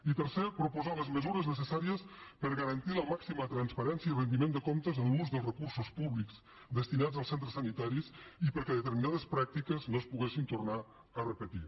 i tercer proposar les mesures necessàries per garantir la màxima transparència i rendiment de comptes en l’ús dels recursos públics destinats als centres sanitaris i perquè determinades pràctiques no es poguessin tornar a repetir